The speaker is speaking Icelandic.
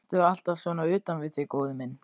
Ertu alltaf svona utan við þig, góði minn?